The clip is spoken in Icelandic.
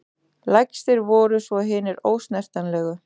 Lægstir voru svo hinir ósnertanlegu.